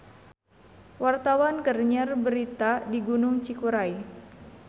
Wartawan keur nyiar berita di Gunung Cikuray